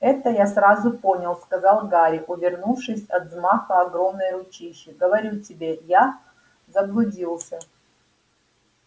это я сразу понял сказал гарри увернувшись от взмаха огромной ручищи говорю тебе я заблудился